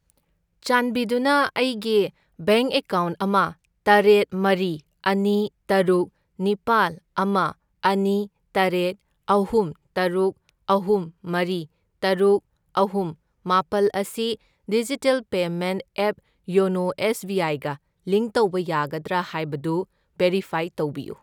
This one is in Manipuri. ꯆꯥꯟꯕꯤꯗꯨꯅ ꯑꯩꯒꯤ ꯕꯦꯡꯛ ꯑꯦꯀꯥꯎꯟꯠ ꯑꯃ, ꯇꯔꯦꯠ, ꯃꯔꯤ, ꯑꯅꯤ, ꯇꯔꯨꯛ, ꯅꯤꯄꯥꯜ, ꯑꯃ, ꯑꯅꯤ, ꯇꯔꯦꯠ, ꯑꯍꯨꯝ, ꯇꯔꯨꯛ, ꯑꯍꯨꯝ, ꯃꯔꯤ, ꯇꯔꯨꯛ, ꯑꯍꯨꯝ, ꯃꯥꯄꯜ ꯑꯁꯤ digital payment app YONO S B ꯑꯥꯏꯒ ꯂꯤꯡꯛ ꯇꯧꯕ ꯌꯥꯒꯗ꯭ꯔꯥ ꯍꯥꯏꯕꯗꯨ ꯚꯦꯔꯤꯐꯥꯏ ꯇꯧꯕꯤꯌꯨ꯫